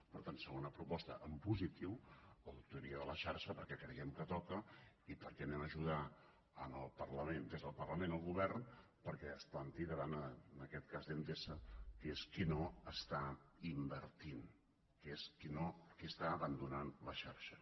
per tant segona proposta en positiu auditoria de la xarxa perquè creiem que toca i perquè ajudem des del parlament el govern perquè es planti davant en aquest cas d’endesa que és qui no està invertint que és qui està abandonant la xarxa